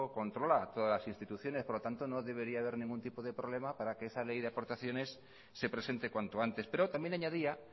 controla todas las instituciones por lo tanto no debería haber ningún tipo de problema para que esa ley de aportaciones se presente cuanto antes pero también añadía